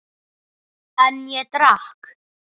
En ég drakk.